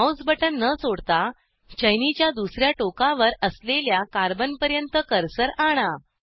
Mouse button न सोडता चैनीच्या दुसर्या टोकावर असलेल्या कार्बनपर्यंत कर्सर आणा